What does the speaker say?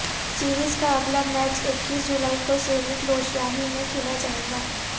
series کا اگلا match اکیس جولائی کو سینٹ لوشیا ہی میں کھیلا جائے گا